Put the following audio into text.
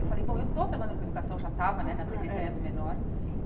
Eu falei, bom, eu estou trabalhando com educação, já estava, hum ah é né, na Secretaria do Menor.